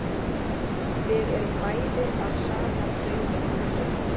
Við erum bæði af sama sauðahúsi.